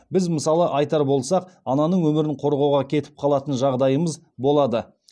біз мысалы айтар болсақ ананың өмірін қорғауға кетіп қалатын жағдайымыз болады